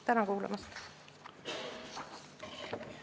Tänan kuulamast!